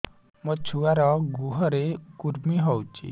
ମୋ ଛୁଆର୍ ଗୁହରେ କୁର୍ମି ହଉଚି